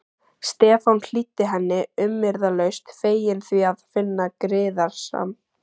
Stefán hlýddi henni umyrðalaust, feginn því að finna griðastað.